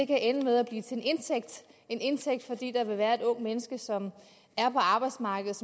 kan ende med at blive til en indtægt fordi der vil være et ungt menneske som er på arbejdsmarkedet